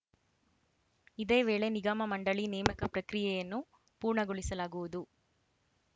ಇದೇ ವೇಳೆ ನಿಗಮಮಂಡಳಿ ನೇಮಕ ಪ್ರಕ್ರಿಯೆಯನ್ನೂ ಪೂರ್ಣಗೊಳಿಸಲಾಗುವುದು